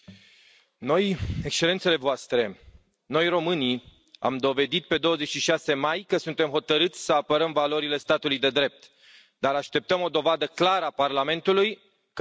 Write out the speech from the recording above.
Excelențele voastre, noi, românii, am dovedit pe 26 mai că suntem hotărâți să apărăm valorile statului de drept, dar așteptăm o dovadă clară a Parlamentului că nu am fost mințiți.